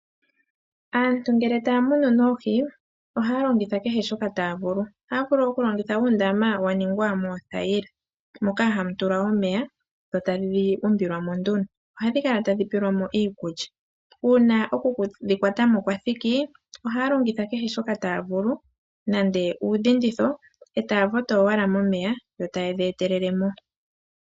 Aantu ngele taya munu oohi, ohaya longitha kehe shoka taya vulu. Ohaya vulu okulongitha uundama waningwa moothayila moka hamu tulwa omeya dhotadhi umbilwa mo nduno. Ohadhi kala tadhi pelwamo iikulya. Uuna okudhi yuulamo kwathiki, ohaya longitha kehe shoka taavulu okudhi kuthamo ngaashi oonete.